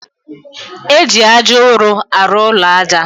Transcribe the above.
Eji aja ụrụ arụ ụlọ aja.